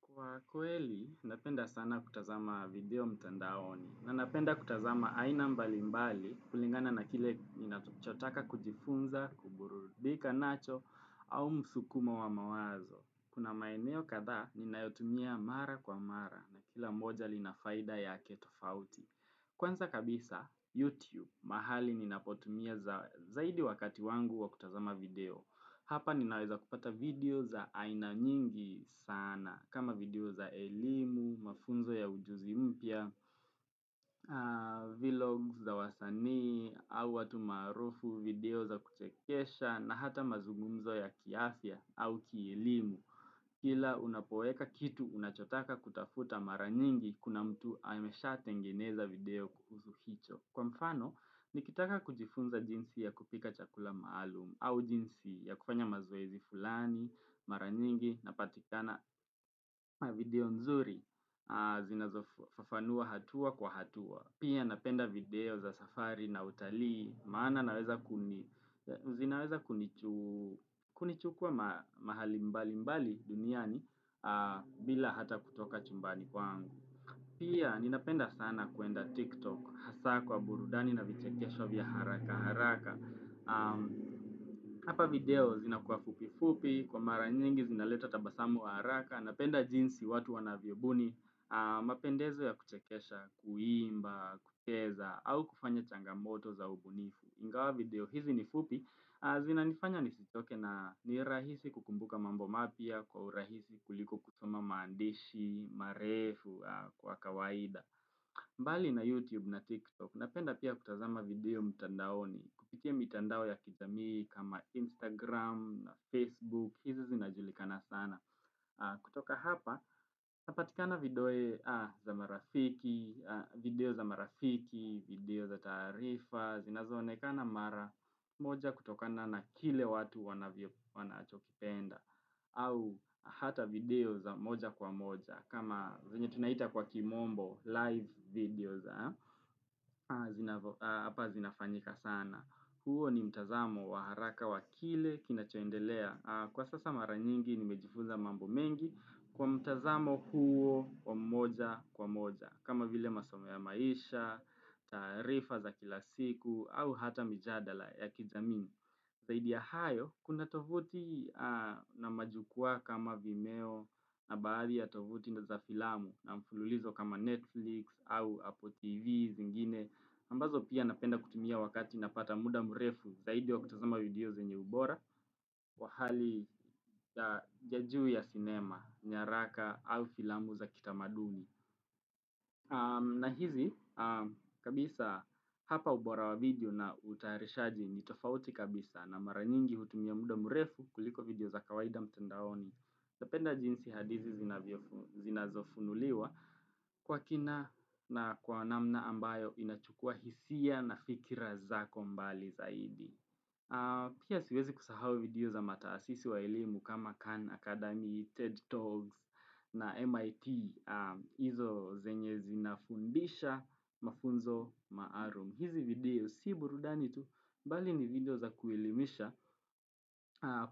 Kwa kweli, napenda sana kutazama video mtandaoni. Na napenda kutazama aina mbalimbali kulingana na kile ninatuchotaka kujifunza, kuburudika nacho, au msukuma wa mawazo. Kuna maeneo kadha, ninayotumia mara kwa mara na kila mmoja lina faida yake tofauti. Kwanza kabisa, YouTube, mahali ninapotumia zaidi wakati wangu wa kutazama video. Hapa ninaweza kupata video za aina nyingi sana kama video za elimu, mafunzo ya ujuzi mpya, vlog za wasanii. Au watu maarufu, video za kuchekesha na hata mazungumzo ya kiafya au kielimu. Kila unapoeka kitu unachotaka kutafuta, mara nyingi kuna mtu ameshatengeneza video kuhusu hicho. Kwa mfano, nikitaka kujifunza jinsi ya kupika chakula maalum au jinsi ya kufanya mazoezi fulani, mara nyingi, napatikana. Video nzuri zinazofafanua hatua kwa hatua. Pia napenda video za safari na utalii. Maana zinaweza kunichukua mahali mbalimbali duniani bila hata kutoka chumbani kwangu. Pia, ninapenda sana kuenda TikTok hasa kwa burudani na vichekesho vya haraka haraka. Hapa video zinakuwa fupi fupi. Kwa mara nyingi zinaleta tabasamu wa haraka. Napenda jinsi watu wanavyobuni, mapendezo ya kuchekesha, kuimba, kucheza, au kufanya changamoto za ubunifu. Ingawa video hizi nifupi, zinanifanya nisichoke na ni rahisi kukumbuka mambo mapya kwa urahisi kuliko kusoma maandishi marefu kwa kawaida. Mbali na YouTube na TikTok, napenda pia kutazama video mtandaoni. Kupitia mtandao ya kijamii kama Instagram, Facebook, hizi zinajulikana sana. Kutoka hapa, napatikana video za marafiki, video za taarifa, zinazonekana mara moja kutokana na kile watu wanachokipenda. Au hata video za moja kwa moja. Kama venye tunaita kwa kimombo, live videos, hapa zinafanyika sana Huuo ni mtazamo waharaka wakile kinachoendelea. Kwa sasa mara nyingi nimejifunza mambo mengi kwa mtazamo huo kwa moja kwa moja. Kama vile masomo ya maisha, taarifa za kila siku au hata mijadala ya kijamii. Zaidi ya hayo, kuna tovuti na majukwaa kama vimeo. Na baadhi ya tovuti na za filamu na mfululizo kama Netflix au Apple TV. Zingine ambazo pia napenda kutumia wakati napata muda mrefu zaidi wa kutazama video zenye ubora wa hali ya jUu ya cinema, nyaraka au filamu za kitamaduni. Na hizi, kabisa hapa ubora wa video na utaharishaji ni tofauti kabisa na mara nyingi hutumia muda mrefu kuliko video za kawaida mtandaoni. Napenda jinsi hadizi zinazo funuliwa kwa kina na kwa namna ambayo inachukua hisia na fikira zako mbali zaidi. Pia siwezi kusahau video za mataasisi wa elemu. Kama Khan Academy, TED Talks na MIT. Hizo zenye zinafundisha mafunzo maarum. Hizi video si burudani tu, bali ni video za kuelimisha.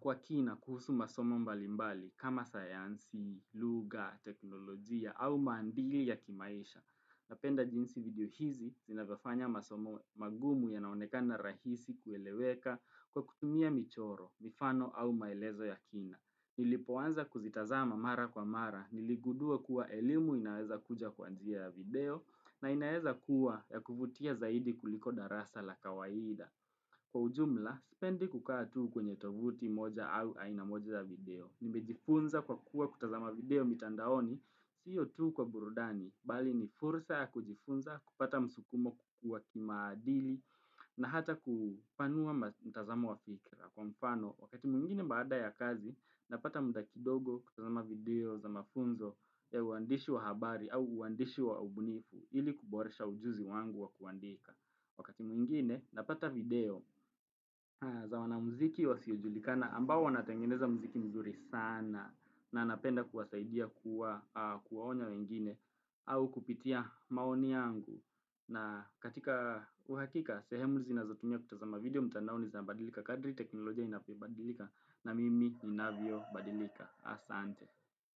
Kwa kina kuhusu masomo mbalimbali. Kama sayansi, lugha, teknolojia au mandili ya kimaisha. Napenda jinsi video hizi, zinavyofanya masomo magumu yanaonekana rahisi kueleweka kwa kutumia michoro, mifano au maelezo ya kina. Nilipoanza kuzitazama mara kwa mara. Niligudua kuwa elimu inaweza kuja kwa njia ya video, na inaweza kuwa ya kufutia zaidi kuliko darasa la kawaida. Kwa ujumla, spendi kukaa tuu kwenye tovuti moja au aina moja za video. Nimejifunza kwa kuwa kutazama video mitandaoni, siyo tuu kwa burudani. Bali ni furusa ya kujifunza kupata msukumo, kukua kimaadili, na hata kupanua mtazama wa fikra. Kwa mfano, wakati mwingine baada ya kazi, napata muda kidogo kutazama video za mafunzo ya uandishi wa habari au uandishi wa ubunifu ili kuboresha ujuzi wangu wa kuandika. Wakati mwingine napata video za wan muziki wasiojulikana ambao wanatangeneza muziki mzuri sana na anapenda kuwasaidia kuwaonya wengine au kupitia maoni yangu. Na katika uhakika, sehemu zinazotumia kutazama video mtandaoni zabadilika kadri teknolojia inapobadilika na mimi inavyobadilika. Asante.